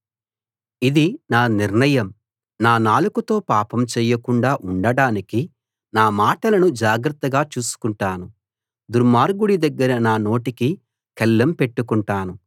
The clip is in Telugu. ఇది నా నిర్ణయం నా నాలుకతో పాపం చేయకుండా ఉండటానికి నా మాటలను జాగ్రత్తగా చూసుకుంటాను దుర్మార్గుడి దగ్గర నా నోటికి కళ్ళెం పెట్టుకుంటాను